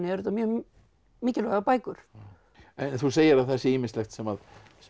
þetta mjög mikilvægar bækur en þú segir að það sé ýmislegt sem sem